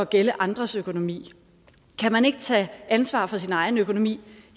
gælde andres økonomi kan man ikke tage ansvar for sin egen økonomi